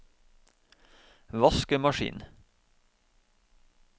vaskemaskin